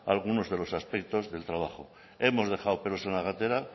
algunos aspectos del trabajo hemos dejado pelos en la gatera